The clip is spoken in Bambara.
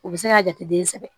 U bɛ se k'a jate den sɛgɛn